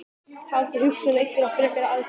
Hafið þið hugað að einhverjum frekari aðgerðum?